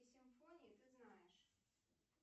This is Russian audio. симфонии ты знаешь